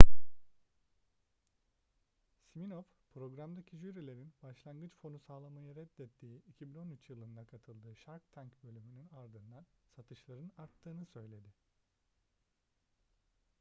siminoff programdaki jürilerin başlangıç fonu sağlamayı reddettiği 2013 yılında katıldığı shark tank bölümünün ardından satışların arttığını söyledi